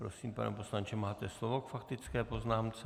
Prosím, pane poslanče, máte slovo k faktické poznámce.